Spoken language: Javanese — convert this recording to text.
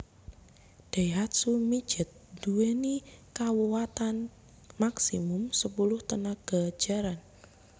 Daihatsu Midget nduweni kakuwatan maksimum sepuluh tenaga jaran